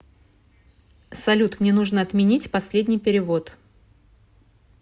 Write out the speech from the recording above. салют мне нужно отменить последний перевод